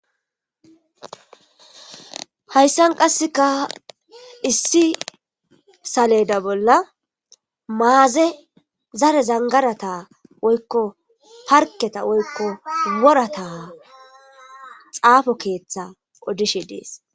Hayisan qaseka issi saleda bola maaze zare zangarata woyikko parketa woyikko worata xafo keeththa odishe des.